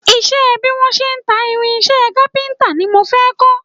Ìṣe bí wọ́n ti ń ta irinṣẹ́ kápíntà ni mo fẹ́ kọ́